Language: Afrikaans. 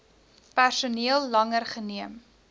personeel langer geneem